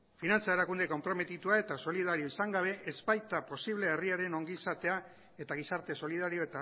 finantza erakunde konprometitua eta solidarioa izan gabe ez baita posible herriaren ongizatea eta gizarte solidario